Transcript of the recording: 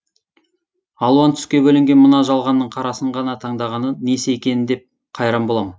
алуан түске бөленген мына жалғанның қарасын ғана таңдағаны несі екен деп қайран болам